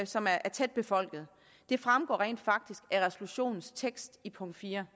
som er tæt befolket det fremgår rent faktisk af resolutionens tekst i punkt fire